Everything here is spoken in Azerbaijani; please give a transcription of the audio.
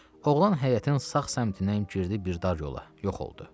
Oğlan həyətin sağ səmtindən girdi bir dar yola, yox oldu.